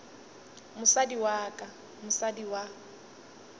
mosadi wa ka mosadi wa